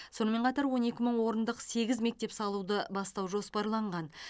сонымен қатар он екі мың орындық сегіз мектеп салуды бастау жоспарланған